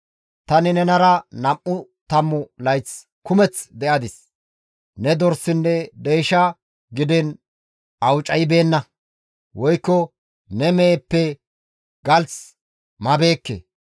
«Tani nenara nam7u tammu layth kumeth de7adis; ne dorsinne deysha gidiin awucaybeenna; woykko ne meheppe galth mabeekke.